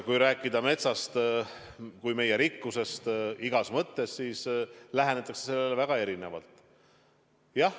Kui rääkida metsast kui meie rikkusest mis tahes mõttes, siis lähenetakse sellele väga erinevalt.